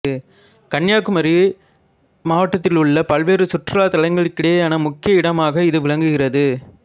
கன்னியாகுமரி மாவட்டத்தில் உள்ள பல்வேறு சுற்றுலா தலங்களுக்கிடையேயான முக்கிய இடமாக இது விளங்குகிறது